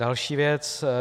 Další věc.